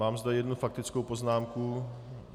Mám zde jednu faktickou poznámku.